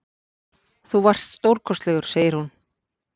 Þú varst stórkostlegur, segir hún.